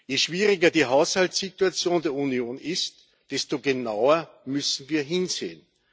Je schwieriger die Haushaltssituation der Union ist, desto genauer müssen wir hinsehen.